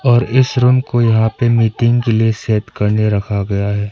और इस रूम को यहां पर मीटिंग के लिए सेट करने रखा गया है।